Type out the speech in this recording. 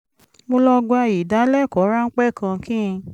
mo lọ gba ìdálẹ́kọ̀ọ́ ráńpẹ́ kan kí n